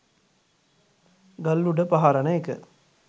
ගල් උඩ පහරන එක